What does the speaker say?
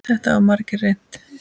Þetta hafa margir reynt.